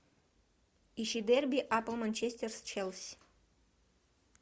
ищи дерби апл манчестер с челси